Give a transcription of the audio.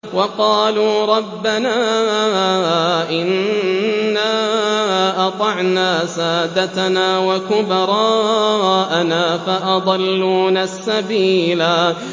وَقَالُوا رَبَّنَا إِنَّا أَطَعْنَا سَادَتَنَا وَكُبَرَاءَنَا فَأَضَلُّونَا السَّبِيلَا